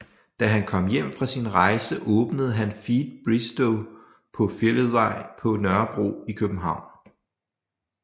Da han kom hjem fra sin rejse åbnede han Feed Bistro på Fælledvej på Nørrebro i København